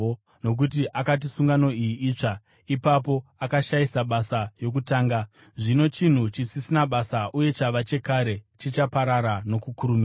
Nokuti akati sungano iyi “itsva,” ipapo akashayisa basa yokutanga; zvino chinhu chisisina basa uye chava chekare chichaparara nokukurumidza.